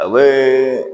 A bɛ